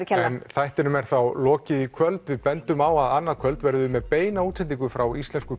þættinum er þá lokið í kvöld við bendum á að annað kvöld verðum við með beina útsendingu frá Íslensku